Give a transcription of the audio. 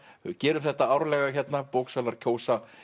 gerum þetta árlega hérna bóksalar kjósa